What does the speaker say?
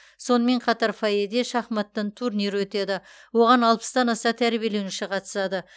сонымен қатар фойеде шахматтан турнир өтеді оған алпыстан аса тәрбиеленуші қатысады